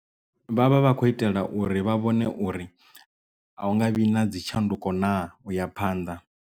Vhavha vha khou itela uri vha vhone uri a hu nga vhi na dzi tshanduko naa u ya phanḓa.